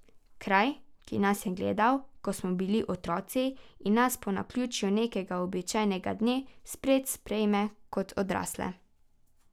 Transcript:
Kraj, ki nas je gledal, ko smo bili otroci, in nas po naključju nekega običajnega dne spet sprejme kot odrasle.